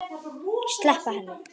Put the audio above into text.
Sleppa henni.